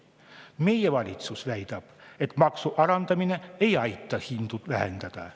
Meie valitsus väidab, et maksu alandamine ei aita hindu vähendada.